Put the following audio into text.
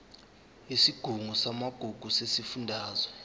yesigungu samagugu sesifundazwe